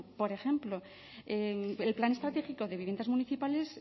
por ejemplo el plan estratégico de viviendas municipales